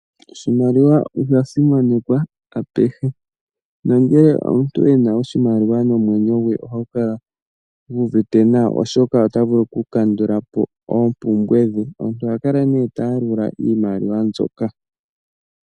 Oshimaliwa osha simanekwa apehe nongele omuntu ena oshimaliwa omwenyo gwe ohagu kala guuvite nawa, oshoka ota vulu oku kandula po oompumbwe dhe. Omuntu oha kala nee taya lula iimaliwa mbyoka.